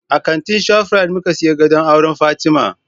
A kantin Shaprit muka siyi gadon auran Fatima